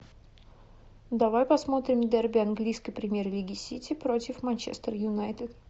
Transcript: давай посмотрим дерби английской премьер лиги сити против манчестер юнайтед